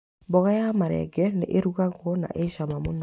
Mboga ya marenge nĩ ĩrugagwo na ĩ cama mũno.